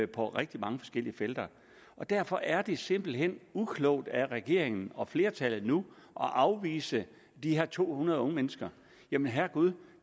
på rigtig mange forskellige felter derfor er det simpelt hen uklogt af regeringen og flertallet nu at afvise de her to hundrede unge mennesker jamen herregud